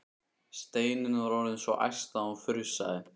Steinunn var orðin svo æst að hún frussaði.